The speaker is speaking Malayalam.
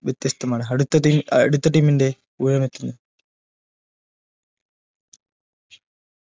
വ്യത്യസ്തമാണ് അടുത്ത team അഹ് അടുത്ത team ന്റെ ഊഴമെത്തുന്നു